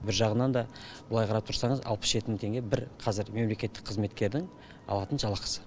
бір жағынан да былай қарап тұрсаңыз алпыс жеті мың теңге бір қазір мемлекеттік қызметкердің алатын жалақысы